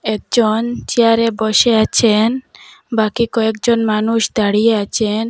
একজন চেয়ার -এ বসে আছেন বাকি কয়েকজন মানুষ দাঁড়িয়ে আচেন।